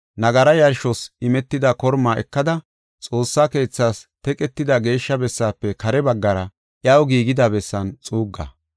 Nagara yarshos imetida kormaa ekada, Xoossaa keethaas teqetida geeshsha bessaafe kare baggara iyaw giigida bessan xuugga.